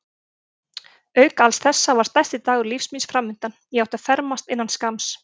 Auk alls þessa var stærsti dagur lífs míns framundan: ég átti að fermast innan skamms.